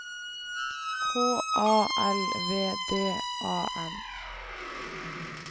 H A L V D A N